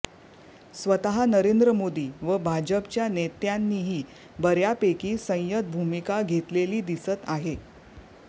स्वतः नरेंद्र मोदी व भाजपच्या नेत्यांनीही बऱयापैकी संयत भूमिका घेतलेली दिसत आहे